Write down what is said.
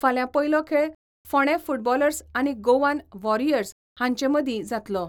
फाल्यां पयलो खेळ फोंडा फुटबॉलर्स आनी गोवन वॉरियर्स हांचें मदीं जातलो.